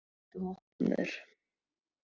Tóta, viltu hoppa með mér?